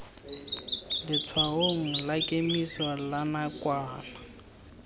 letshwaong la kemiso la nakwana